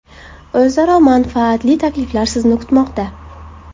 O‘zaro manfaatli takliflar sizni kutmoqda!